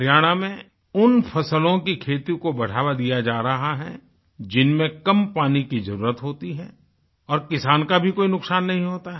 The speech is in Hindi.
हरियाणा में उन फसलों की खेती को बढ़ावा दिया जा रहा है जिनमें कम पानी की जरुरत होती है और किसान का भी कोई नुकसान नहीं होता है